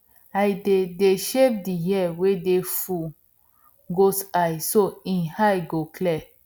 i dey dey shave di hair wey full goat eye so hin eyes go clear